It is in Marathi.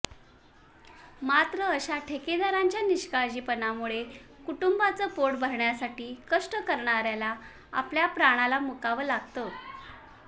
मात्र अशा ठेकेदारांच्या निष्काळजीपणामुळे कुटुंबाच पोट भरण्यासाठी कष्ट करणाऱ्याला आपल्या प्राणाला मुकावं लागतं